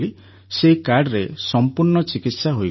ସେହି କାର୍ଡ଼ରେ ସମ୍ପୂର୍ଣ୍ଣ ଚିକିତ୍ସା ହୋଇଗଲା